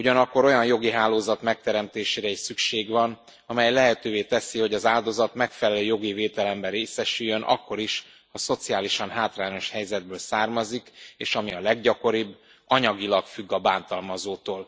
Ugyanakkor olyan jogi hálózat megteremtésére is szükség van, amely lehetővé teszi, hogy az áldozat megfelelő jogi védelemben részesüljön akkor is, ha szociálisan hátrányos helyzetből származik és ami a leggyakoribb anyagilag függ a bántalmazótól.